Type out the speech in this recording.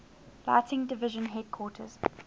lighting division headquarters